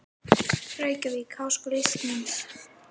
Reykjavík: Háskóli Íslands.